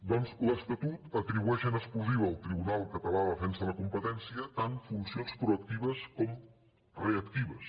doncs l’estatut atribueix en exclusiva al tribunal català de defensa de la competència tant funcions proactives com reactives